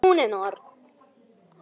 Hún er norn.